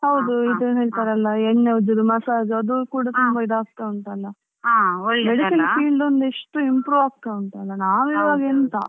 ಹ್ಮ್ ಹೌದು ಎಣ್ಣೆ ಉಜ್ಜುದು massage ಅದು ಕೂಡ ತುಂಬಾ ಈದ್ ಆಗ್ತಾ ಉಂಟಲ್ವಾ Medical field ಈಗ ಎಷ್ಟು improve ಆಗ್ತಾ ಉಂಟಲ್ವಾ ನಾವ್ ಇವಾಗೆಂತ.